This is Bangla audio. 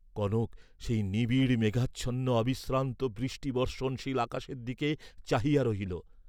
কনক সেই নিবিড় মেঘাচ্ছন্ন অবিশ্রান্ত বৃষ্টিবর্ষণশীল আকাশের দিকে চাহিয়া রহিল।